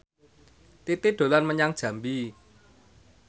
Titi dolan menyang Jambi